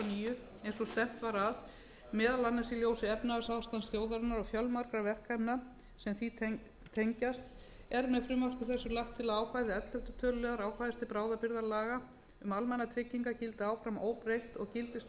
og stefnt var að meðal annars í ljósi efnahagsástands þjóðarinnar og fjölmargra verkefna sem því tengjast er með frumvarpi þessu lagt til að ákvæði ellefta töluliðar ákvæðis til bráðabirgðalaga um almannatryggingar gildi áfram óbreytt og gildistímabil þess